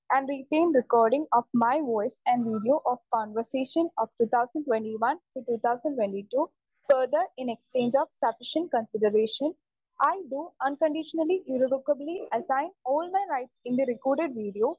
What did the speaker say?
Speaker 2 and written recording of my voice and video of conversation of two thousand twenty one to two thousand twenty two. Further, in exchange of sufficient consideration, I do unconditionally irrevocably assign all my rights in the record video